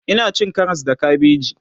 Ina cin Karas da kabeji